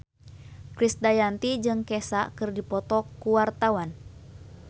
Krisdayanti jeung Kesha keur dipoto ku wartawan